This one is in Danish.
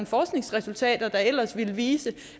forskningsresultat der ellers ville vise